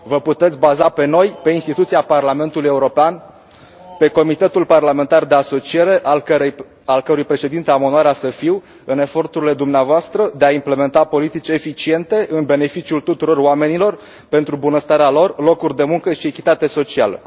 Vă puteți baza pe noi, pe instituția Parlamentului European, pe Comitetul parlamentar de asociere, al cărui președinte am onoarea să i fiu, în eforturile dumneavoastră de a implementa politici eficiente în beneficiul tuturor oamenilor, pentru bunăstarea lor, locuri de muncă și echitate socială.